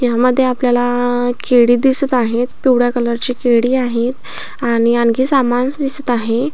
यामध्ये आपल्याला केळी दिसत आहे पिवळ्या कलर ची केळी आहेत आणि आणखी सामानस दिसत आहे.